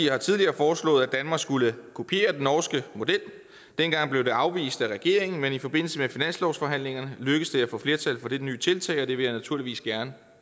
har tidligere foreslået at danmark skulle kopiere den norske model dengang blev det afvist af regeringen men i forbindelse med finanslovsforhandlingerne lykkedes det at få flertal for dette nye tiltag og det vil jeg naturligvis gerne